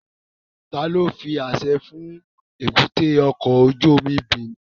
Tani o fi aṣẹ fun èbúté ọkọ ojú omi okun Benin?